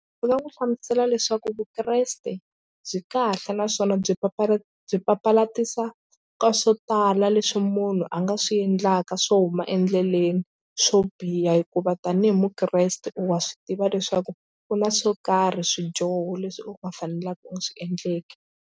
Ndzi nga n'wi hlamusela leswaku vukreste byi kahle naswona byi papalata byi papalatisa ka swo tala leswi munhu a nga swi endlaka swo huma endleleni swo biha hikuva tanihi mukreste wa swi tiva leswaku u na swo karhi swidyoho leswi u nga fanelaka u swi endleke.